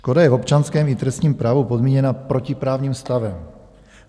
Škoda je v občanském i trestním právu podmíněna protiprávním stavem.